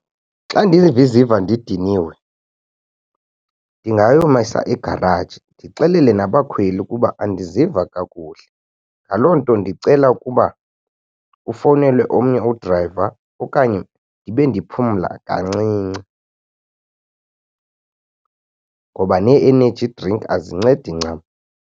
Xa ndiziva ndidiniwe ndingayomisa egaraji ndixelele nabakhweli ukuba andiziva kakuhle. Ngaloo nto ndicela ukuba ufowunele omnye udrayiva okanye ndibe ndiphumla kancinci ngoba nee-energy drink azincedi ncam.